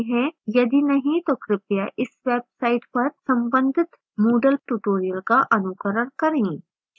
यदि नहीं तो कृपया इस website पर संबंधित moodle tutorials का अनुकरण करें